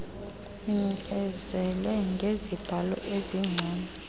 inikezele ngezibalo ezingcono